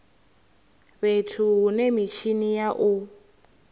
fhethu hune mitshini ya u